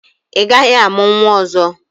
Ị gaghị amụ nwa ọzọ!